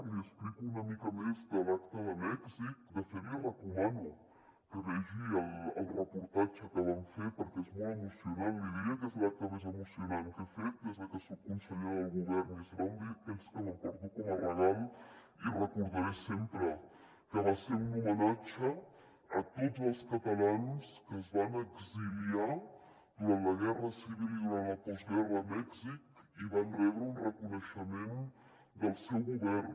li explico una mica més l’acte de mèxic de fet li recomano que vegi el reportatge que vam fer perquè és molt emocionant li diria que és l’acte més emocionant que he fet des que soc consellera del govern i serà un d’aquells que m’emporto com a regal i recordaré sempre que va ser un homenatge a tots els catalans que es van exiliar durant la guerra civil i durant la postguerra a mèxic i van rebre un reconeixement del seu govern